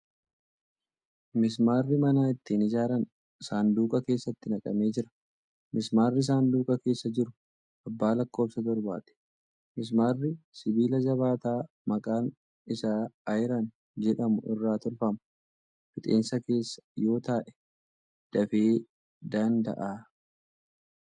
Mismaarri mana ittiin ijaaran sanduuqa keessatti naqamee jira. Mismaarri sanduuqa keessa jiru abbaa lakkofsa torbaati. Mismaarri sibiila jabaataa maqaan isaa ayiran jedhamu irraa tolfama. Fixeensa keessa yoo taa'ee dafee daanda'a